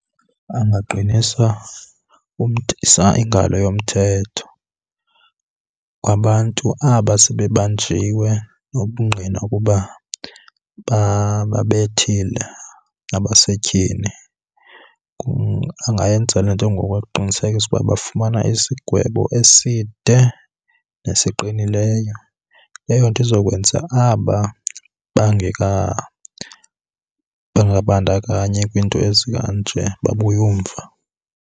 Angaqinisa ingalo yomthetho kwabantu aba sebebanjiwe nobungqina ukuba bababethile abasetyhini. Angayenza le nto ngokuqinisekisa ukuba bafumana isigwebo eside nesiqinileyo. Eyo nto izokwenza aba bangabandakanyi kwiinto ezikanje babuye umva.